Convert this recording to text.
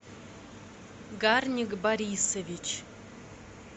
гарник борисович